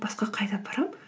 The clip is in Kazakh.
басқа қайда барамын